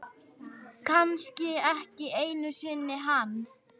Kannski ekki einu sinni hann.